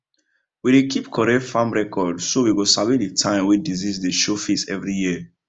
we dey keep correct farm record so we go sabi the time wey disease dey show face every year